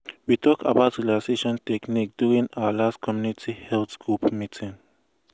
we talk about relaxation techniques during our last community health group meeting.